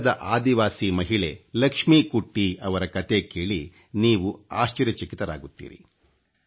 ಕೇರಳದ ಆದಿವಾಸಿ ಮಹಿಳೆ ಲಕ್ಷ್ಮಿ ಕುಟ್ಟಿ ಯವರ ಕಥೆ ಕೇಳಿ ನೀವು ಆಶ್ಚರ್ಯಚಕಿತರಾಗುತ್ತೀರಿ